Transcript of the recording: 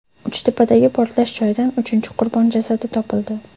Uchtepadagi portlash joyidan uchinchi qurbon jasadi topildi.